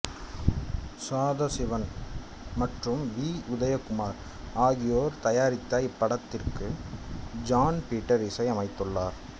சாதசிவன் மற்றும் வி உதயகுமார் ஆகியோர் தயாரித்த இப்படத்துக்கு ஜான் பீட்டர் இசை அமைத்துள்ளார்